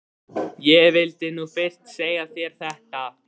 Ég vildi nú fyrst segja þér þetta.